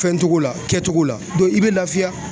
Fɛncogo la kɛcogo la i bɛ laafiya.